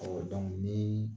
Ɔ ni